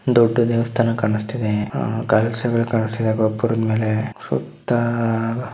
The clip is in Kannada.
ದೊಡ್ಡ ದೇವಸ್ಥಾನ ಕಾಣಿಸ್ತಾಯಿದೆ ಕಲಶಗಳು ಕಾಣಿಸ್ತಾಯಿದೆ ಗೋಪುರದ ಮೇಲೆ ಸುತ್ತ--